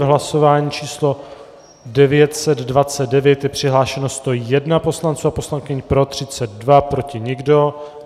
V hlasování číslo 929 je přihlášeno 101 poslanců a poslankyň, pro 32, proti nikdo.